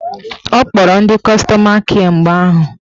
Ọ kpọrọ ndị kọstọma kịe mgbe ahụ